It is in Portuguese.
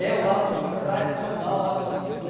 É o Largo de São Francisco, tradicional Largo de São Francisco.